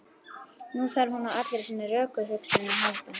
Nú þarf hún á allri sinni rökhugsun að halda.